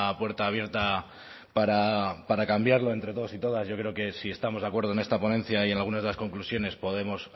puerta abierta para cambiarlo entre todos y todas yo creo que si estamos de acuerdo en esta ponencia y en algunas de las conclusiones podemos